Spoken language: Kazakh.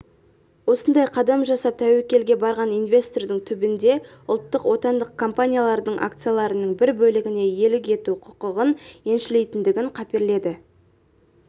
осындай қадам жасап тәуекелге барған инвестордың түбінде ұлттық отандық компаниялардың акцияларының бір бөлігіне иелік ету құқығын еншілейтіндігін қаперледі